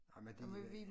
Ej men de øh